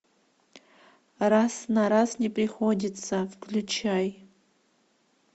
раз на раз не приходится включай